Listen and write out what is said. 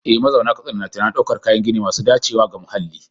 Eh, mazauna Katsina na tunanin daukar kayan gini masu dacewa da muhalli.